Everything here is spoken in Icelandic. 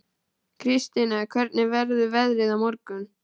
Kristine, hvernig verður veðrið á morgun?